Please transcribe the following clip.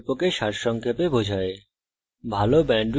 এটি কথ্য tutorial প্রকল্পকে সারসংক্ষেপে বোঝায়